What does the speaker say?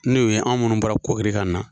N'o ye anw munnu bɔra kore ka na.